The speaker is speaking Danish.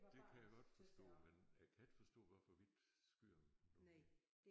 Det kan jeg godt forstå men jeg kan ikke forstå hvorfor vi ikke skyder dem nu her